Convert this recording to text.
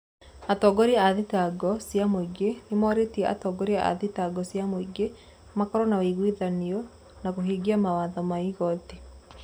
Atongoria a thitango cia muingi nimoritie atongoria a thitango cia muingi makorwo na wuigwithanio wa kuhingia mawatho ma igoti.